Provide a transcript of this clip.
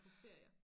Ferier